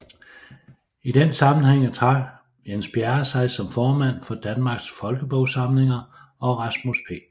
I den sammenhæng trak Jens Bjerre sig som formand for Danmarks Folkebogsamlinger og Rasmus P